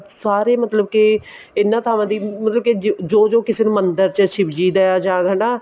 ਸਾਰੇ ਮਤਲਬ ਕੇ ਇਹਨਾ ਥਾਵਾਂ ਦੀ ਮਤਲਬ ਕੇ ਜੋ ਜੋ ਕਿਸੇ ਮੰਦਿਰ ਚ ਸ਼ਿਵਜੀ ਦਾ ਜਾਂ ਹਨਾ